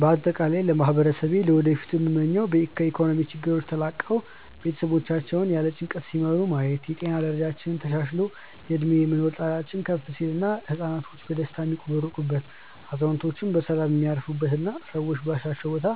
በአጠቃላይ ለማህበረሰቤ ለወደፊቱ ምመኘው ከኢኮኖሚያዊ ችግሮች ተላቀው ቤተሰቦቻቸውን ያለ ጭንቀት ሲመሩ ማየት፣ የጤና ደረጃችን ተሻሽሎ የእድሜ የመኖር ጣሪያችን ከፍ ሲል እና ህፃናቶች በደስታ የሚቦርቁበት፣ አዛውንቶች በሰላም የሚያርፉበት እና ሰዎች ባሻቸው ቦታ